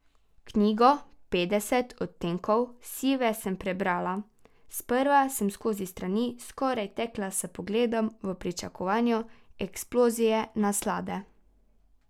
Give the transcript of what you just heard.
Knjigo Petdeset odtenkov sive sem prebrala, sprva sem skozi strani skoraj tekla s pogledom v pričakovanju eksplozije naslade.